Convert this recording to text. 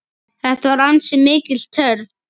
Þetta var ansi mikil törn.